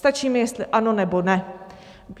Stačí mi, jestli ano, nebo ne.